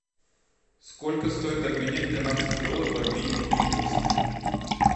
сколько стоит обменять канадский доллар в обменнике лиговский